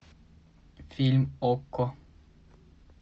фильм окко